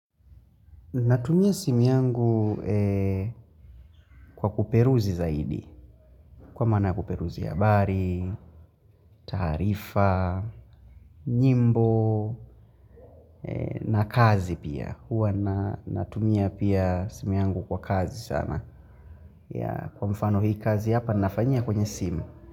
Natumia simu yangu kwa kuperuzi zaidi. Kwa maana kuperuzi habari, taarifa, nyimbo, na kazi pia. Huwa natumia pia simu yangu kwa kazi sana. Kwa mfano hii kazi hapa nafanyia kwenye simu.